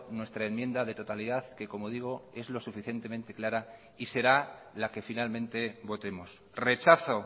nuestra enmienda de totalidad que como digo es lo suficientemente clara y será la que finalmente votemos rechazo